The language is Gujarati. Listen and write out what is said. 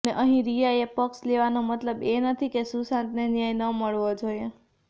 અને અહીં રિયાનો પક્ષ લેવાનો મતલબ એ નથી કે સુશાંતને ન્યાય ન મળવો જોઈએ